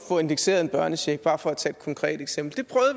få indekseret en børnecheck bare for tage et konkret eksempel